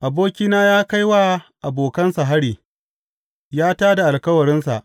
Abokina ya kai wa abokansa hari; ya tā da alkawarinsa.